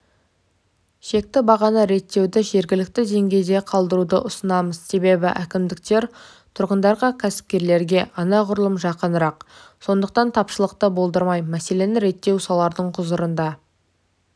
шекті бағаны реттеуді жергілікті деңгейде қалдыруды ұсынамыз себебі әкімдіктер тұрғындарға кәсіпкерлерге анағұрлым жақынырақ сондықтан тапшылықты болдырмай мәселені реттеу солардың құзырында